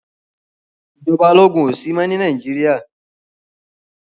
Ìjọba ológun ò sí mọ́ ní Nàìjíríà